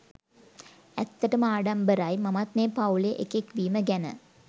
ඇත්තටම ආඩම්බරයි මමත් මේ පවුලේ එකෙක් වීම ගැන